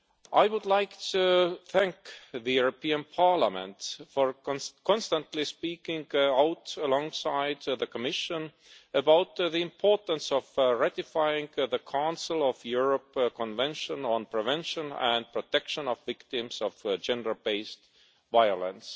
I would like to thank the European Parliament for constantly speaking out alongside the Commission about the importance of ratifying the Council of Europe Convention on prevention and protection of victims of gender based violence.